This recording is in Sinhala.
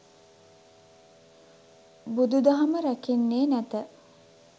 බුදු දහම රැකෙන්නේ නැත.